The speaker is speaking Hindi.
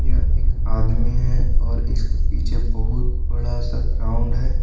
यह एक आदमी है और इसके पीछे बहुत बड़ा सा ग्राउंड है।